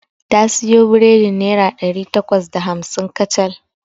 Ta siyo biredin naira ɗari takwas da hamsin kacal.